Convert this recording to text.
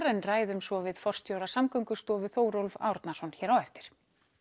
en ræðum svo við forstjóra Samgöngustofu Þórólf Árnason hér á eftir